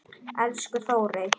Elsku Þórey.